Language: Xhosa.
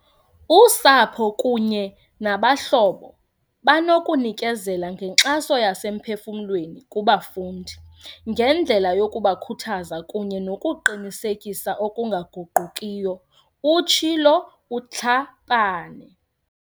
Usapho kunye nabahlobo banokunikezela ngenkxaso yasemphefuml weni kubafundi, ngendlela yokubakhuthaza kunye nokuqinisekisa okunga guqukiyo, utshilo uTlhapane.